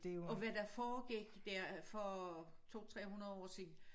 Og hvad der foregik der for 2 300 år siden